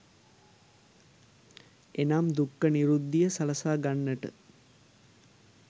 එනම් දුක්ඛ නිරුද්ධීය සලසා ගන්නට